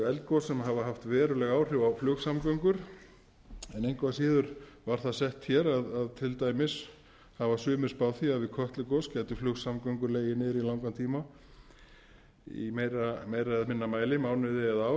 eldgos sem hafa haft veruleg áhrif á flugsamgöngur en engu að síður var það sett hér að til dæmis hafa sumir spáð því að við kötlugos gætu flugsamgöngur legið niðri í langan tíma í meira eða minna mæli mánuði eða ár